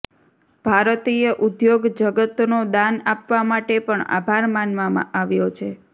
ભારતીય ઉદ્યોગ જગતનો દાન આપવા માટે પણ આભાર માનવામાં આવ્યો છે